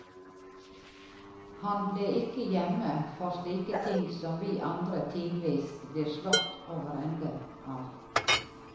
Han ble ikke hjemme for slike ting som vi andre tidvis blir slått over ende av.